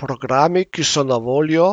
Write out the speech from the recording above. Programi, ki so na voljo,